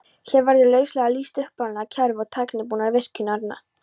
Hér verður lauslega lýst upprunalegu kerfi og tæknibúnaði virkjunarinnar.